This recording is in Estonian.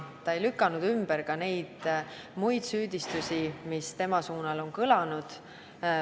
Ta ei lükanud ümber ka muid süüdistusi, mis tema suunal on kõlanud.